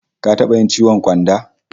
Ka taba yin ciwon ƙyanda?